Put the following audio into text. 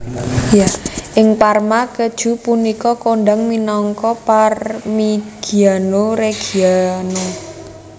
Ing Parma keju punika kondhang minangka Parmigiano Reggiano